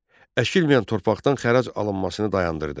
Əkilməyən torpaqdan xərac alınmasını dayandırdı.